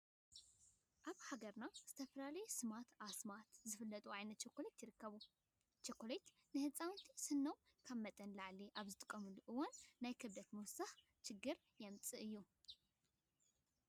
ኣብ ሃገርና ብዝተፈላለዩ ስማት ኣስማታትን ዝፍለጡ ዓይነታት ቸኮሌት ይርከቡ። ቸኮሌታት ንህፃውንቲ ኣብ ስኖምንን ካብ መጠን ንላዕሊ ኣብ ዝጥቐምሉ እዋን ናይ ክብደት ምውሳሽን ችግር የምፅኣሎም እዩ።